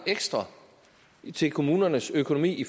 ekstra til kommunernes økonomi